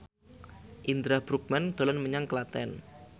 Indra Bruggman dolan menyang Klaten